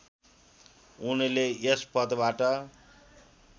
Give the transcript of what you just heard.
उनले यस पदबाट